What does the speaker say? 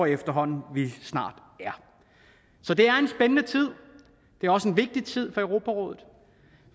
efterhånden at vi snart er så det er en spændende tid det er også en vigtig tid for europarådet